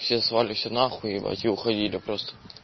все слали всё на хуй ебать и уходили просто